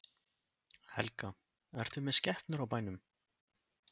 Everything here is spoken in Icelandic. Helga: Ertu með skepnur á bænum?